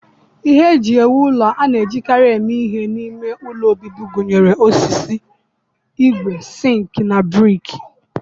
Ihe eji ewu ụlọ a na-ejikarị eme ihe n'ime ụlọ obibi gụnyere osisi, ígwè, sink na brik